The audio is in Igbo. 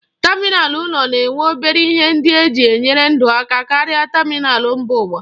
Tamịnal ụlọ na-enwe obere ihe ndị eji enyere ndụ aka karịa tamịnal mba ụwa.